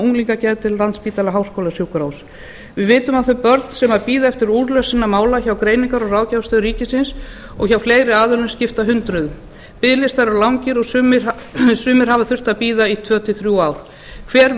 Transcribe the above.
unglingageðdeild landspítala háskólasjúkrahúss við vitum að þau börn sem bíða eftir úrlausn sinna mála hjá greiningar og ráðgjafarstöð ríkisins og hjá fleiri aðilum skipta hundruðum biðlistar eru langir og sumir hafa þurft að bíða í tvö til þrjú ár hver